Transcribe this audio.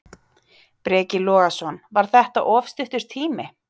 Breki Logason: Var þetta of stuttur tími?